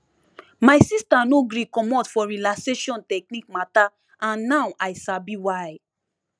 my sister no gree commot for relaxation technique matter and now i sabi why